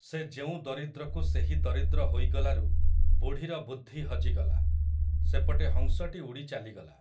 ସେ ଯେଉଁ ଦରିଦ୍ରକୁ ସେହି ଦରିଦ୍ର ହୋଇଗଲାରୁ ବୁଢ଼ୀର ବୁଦ୍ଧି ହଜିଗଲା, ସେପଟେ ହଂସଟି ଉଡ଼ି ଚାଲିଗଲା ।